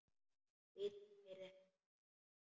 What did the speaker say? Bíll keyrði hægt framhjá honum.